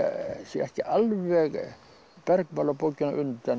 ekki alveg bergmál af bókinni á undan